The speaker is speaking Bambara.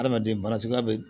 Adamaden baara cogoya bɛ